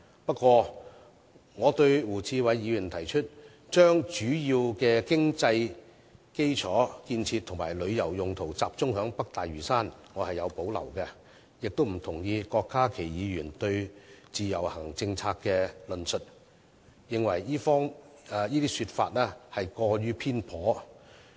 不過，對於胡志偉議員提議把主要的經濟基礎建設及旅遊用途集中於北大嶼山，我卻有所保留，亦不同意郭家麒議員就自由行政策作出的論述，我認為這些說法過於偏頗。